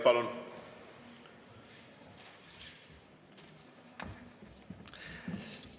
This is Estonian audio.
Palun!